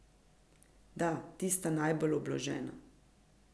Da, tista najbolj obložena.